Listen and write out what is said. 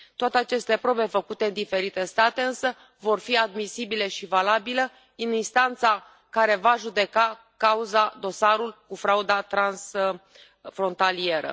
Toate aceste probe făcute în diferite state însă vor fi admisibile și valabile în instanța care va judeca cauza, dosarul cu frauda transfrontalieră.